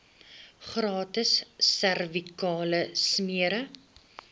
gratis servikale smere